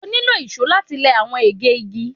o nilo ìsó lati lẹ awọn ege igi